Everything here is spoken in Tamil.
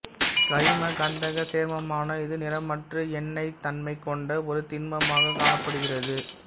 கரிம கந்தகச் சேர்மமான இது நிறமற்று எண்ணெய்த் தன்மை கொண்ட ஒரு திண்மமாக காணப்படுகிறது